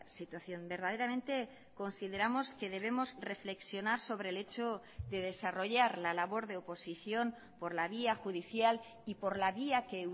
situación verdaderamente consideramos que debemos reflexionar sobre el hecho de desarrollar la labor de oposición por la vía judicial y por la vía que